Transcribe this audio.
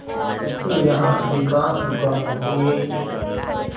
किंतु यहाँ अधिकांश दुकानों के